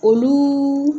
Olu